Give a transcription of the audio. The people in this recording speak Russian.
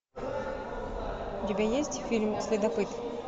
у тебя есть фильм следопыт